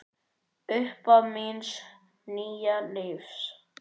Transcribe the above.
Upphaf míns nýja lífs.